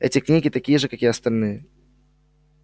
эти книги такие же как и остальные